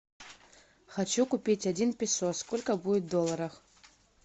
хочу купить один песо сколько будет в долларах